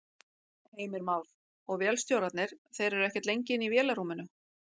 Heimir Már: Og vélstjórarnir, þeir eru ekkert lengi inni í vélarrúminu?